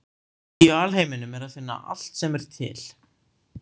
Í alheiminum er að finna allt sem er til.